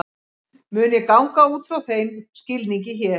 Mun ég ganga út frá þeim skilningi hér.